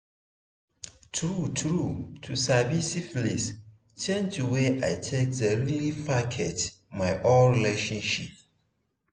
true true to sabi syphilis change the way i take the really package my own relationship